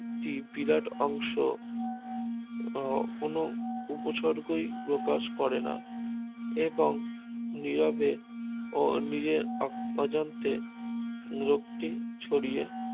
একটি বিরাট অংশ আহ কোনো উপসর্গই প্রকাশ করে না এবং নিরবে ও নিজের অজান্তে রোগটি ছড়িয়ে